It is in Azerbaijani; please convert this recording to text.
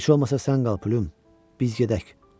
Heç olmasa sən qal Plym, biz gedək.